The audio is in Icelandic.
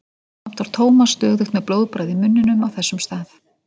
Samt var Thomas stöðugt með blóðbragð í munninum á þessum stað.